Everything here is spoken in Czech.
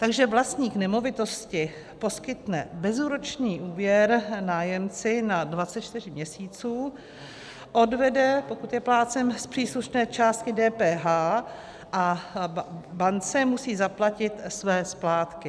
Takže vlastník nemovitosti poskytne bezúročný úvěr nájemci na 24 měsíců, odvede, pokud je plátcem, z příslušné částky DPH, a bance musí zaplatit své splátky.